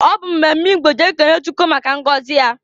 Ọbụ mmemme Igbo ji ekene Chukwu maka ngozi ya.